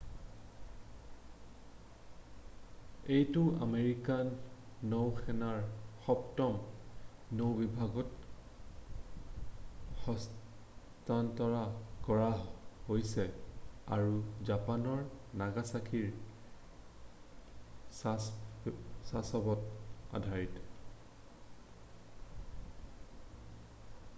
এইটো আমেৰিকান নৌসেনাৰ সপ্তম নৌ-বিভাগক হস্তান্তৰ কৰা হৈছে আৰু জাপানৰ নাগাছাকিৰ ছাছেব'ত আধাৰিত